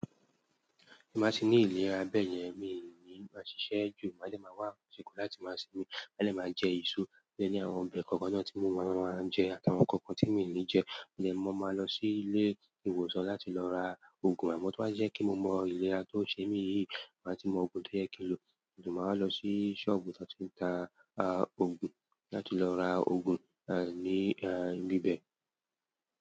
Ti báa ti ní ìlera bẹ́ẹ̀ yẹn, mi ò ní máa ṣiṣẹ́ jù, maa dẹ máa wá ṣekan láti máa sinmi, telẹ máa jẹ eso, mo ní ẹ ní àwọn ọbẹ̀ kọ̀ọ̀kan náà tí mo mọ̀ máa ń jẹ, àtàwọn nkankan tí mi i ní jẹ, mo de mó máa lọ sí ilé ìwòsàn láti lọ ra òògùn, àmọ́ tó bá jẹ́ kí mo mọ ìlera tó ṣe mí yìí, máa ti mọ òògùn tó yẹ kí n lo, ma wáa lọ sí sọ́ọ̀bù to ti n ta òògùn láti lọ ra òògùn, à, ní, à, ibi bẹ́ẹ̀